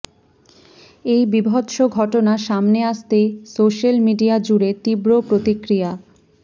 এই বীভৎস ঘটনা সামনে আসতেই সোশ্যাল মিডিয়া জুড়ে তীব্র প্রতিক্রিয়া